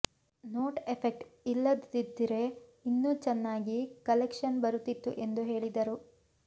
note effect ಇಲ್ಲದಿದ್ರೆ ಇನ್ನೂ ಚೆನ್ನಾಗಿ ಕಲೆಕ್ಷನ್ ಬರುತ್ತಿತ್ತು ಎಂದು ಹೇಳಿದರು